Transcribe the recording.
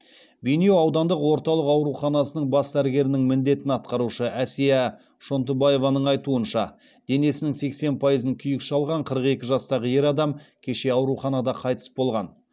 бейнеу аудандық орталық ауруханасының бас дәрігерінің міндетін атқарушы әсия шонтыбаеваның айтуынша денесінің сексен пайызын күйік шалған қырық екі жастағы ер адам кеше ауруханада қайтыс болған